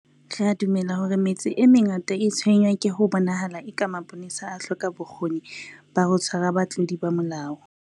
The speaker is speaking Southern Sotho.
Re a dumela hore metse e mengata e tshwenngwa ke ho bonahalang eka mapolesa a hloka bokgoni ba ho tshwara batlodi ba molao.